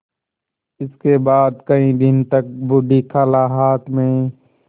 इसके बाद कई दिन तक बूढ़ी खाला हाथ में